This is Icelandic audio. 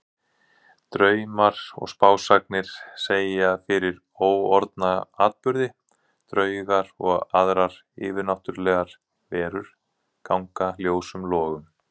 Draumar og spásagnir segja fyrir óorðna atburði, draugar og aðrar yfirnáttúrlegar verur ganga ljósum logum.